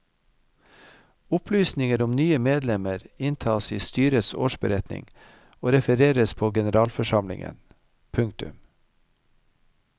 Opplysninger om nye medlemmer inntas i styrets årsberetning og refereres på generalforsamlingen. punktum